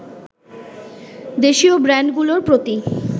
দেশীয় ব্র্যান্ডগুলোর প্রতি